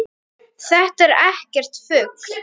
Þetta er ekkert rugl.